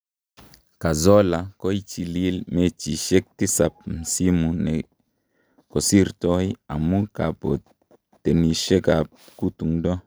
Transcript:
Cazorla, koichilil mechisiek tisab msimu ne kosirtoi amu kabotenisietab kutungdo.